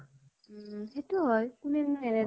উম । সেইতো ও হয় । কোনেনো এনেই